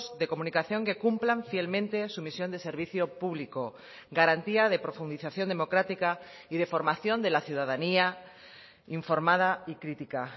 de comunicación que cumplan fielmente su misión de servicio público garantía de profundización democrática y de formación de la ciudadanía informada y crítica